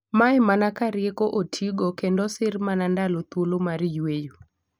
Mae mana ka rieko otiigo kendo osir mana ndalo thuolo mar yweyo.